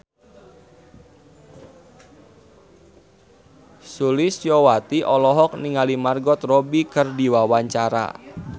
Sulistyowati olohok ningali Margot Robbie keur diwawancara